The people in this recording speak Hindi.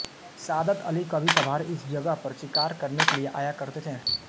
सादत अली कभीकभार इस जगह पर शिकार करने के लिए आया करते थे